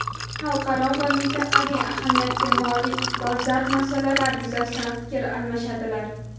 xalqaro va mintaqaviy ahamiyatga molik dolzarb masalalar yuzasidan fikr almashadilar.